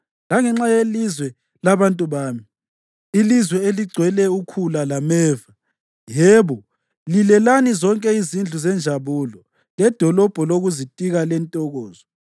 langenxa yelizwe labantu bami, ilizwe eligcwele ukhula lameva, yebo, lilelani zonke izindlu zenjabulo ledolobho lokuzitika lentokozo.